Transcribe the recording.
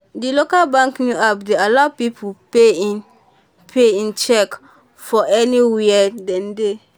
di local bank new app dey allow people pay in pay in cheque from anywhere dem dey.